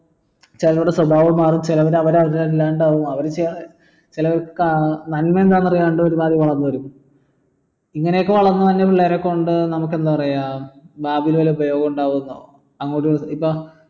ചിലരുടെ സ്വഭാവം മാറും ചെലര് അവര് അവരെല്ലാണ്ട് ആവും അവര് ഏർ നന്മ എന്താന്ന് അറിയാണ്ട് വളർന്ന് വരും ഇങ്ങനെയൊക്കെ വളർന്നുവരുന്ന പിള്ളേരെ കൊണ്ട് നമുക്ക് എന്താ പറയാ നാട്ടിൻ ഒരു ഉപയോഗം ഉണ്ടാവില്ല ഇപ്പോ